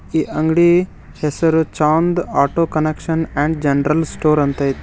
ಈ ಅಂಗ್ಡಿ ಹೆಸರು Chand auto connection and general store ಅಂತ್ ಐತಿ.